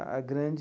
A grande...